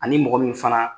Ani mɔgɔ min fana